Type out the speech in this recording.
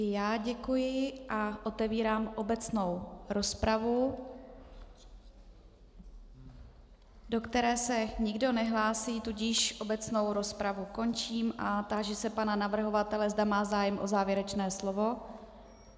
I já děkuji a otevírám obecnou rozpravu, do které se nikdo nehlásí, tudíž obecnou rozpravu končím a táži se pana navrhovatele, zda má zájem o závěrečné slovo.